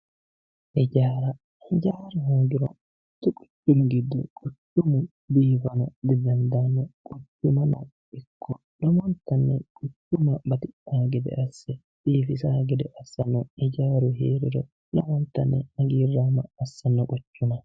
Hijaara, hijaaru hoogiro quchumu biifano didandaano, quchumano ikko lowontanni quchumma batidhano gede asse biifisano gede assano hijaaru heeriro, lowontanni hagiiramo assano quchuma.